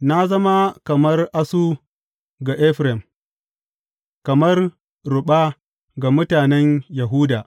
Na zama kamar asu ga Efraim, kamar ruɓa ga mutanen Yahuda.